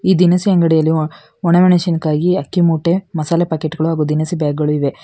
ಈ ದಿನಸಿ ಅಂಗಡಿಯಲ್ಲಿ ಒಣಮೆಣಸಿನಕಾಯಿ ಅಕ್ಕಿಮೂಟೆ ಮಸಾಲೆ ಪಾಕೇಟ್ ಗಳು ಹಾಗು ದಿನಸಿ ಬ್ಯಾಗ್ ಗಳು ಇವೆ.